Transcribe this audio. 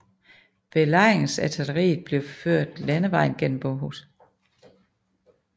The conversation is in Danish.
Belejringsartilleriet blev ført landevejen gennem Bohuslen under bevogtning af 15 kompagnier ledet af Huitfeldt